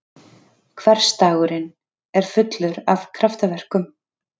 Hversdagurinn er fullur af kraftaverkum!